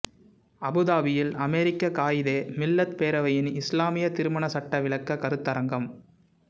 அபுதாபியில் அமீரக காயிதே மில்லத் பேரவையின் இஸ்லாமிய திருமண சட்ட விளக்க கருத்தரங்கம்